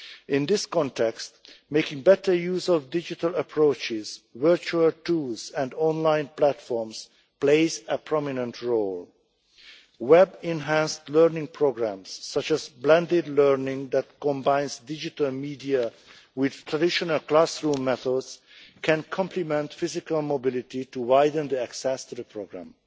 In this context, making better use of digital approaches, virtual tools and online platforms plays a prominent role. Web-enhanced learning programmes, such as blended learning that combines digital media with traditional classroom methods, can complement physical mobility to widen access to the programme.